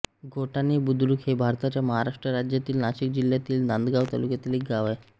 धोटाणे बुद्रुक हे भारताच्या महाराष्ट्र राज्यातील नाशिक जिल्ह्यातील नांदगाव तालुक्यातील एक गाव आहे